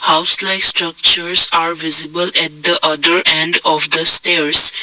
house like structures are visible at the order and of the stairs.